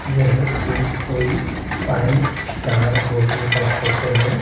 यह एक कोई फाइव स्टार होटल का फोटो है।